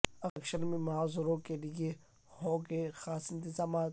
election میں معذوروں کے لئے ہوں گے خاص انتظامات